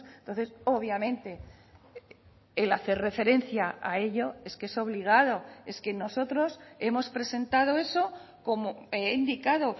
entonces obviamente el hacer referencia a ello es que es obligado es que nosotros hemos presentado eso como he indicado